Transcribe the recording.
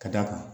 Ka d'a kan